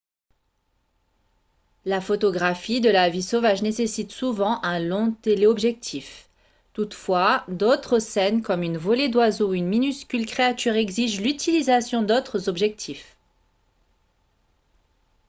la photographie de la vie sauvage nécessite souvent un long téléobjectif toutefois d'autres scènes comme une volée d'oiseaux ou une minuscule créature exigent l'utilisation d'autres objectifs